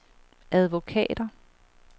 advokater